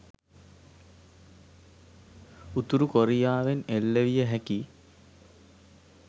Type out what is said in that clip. උතුරු කොරියාවෙන් එල්ල විය හැකි